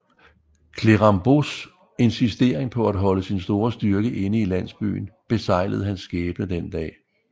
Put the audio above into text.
Clérambaults insisteren på at holde sin store styrke inde i landsbyen beseglede hans skæbne den dag